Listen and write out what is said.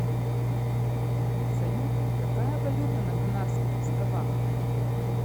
салют какая валюта на канарских островах